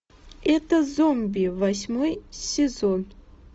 это зомби восьмой сезон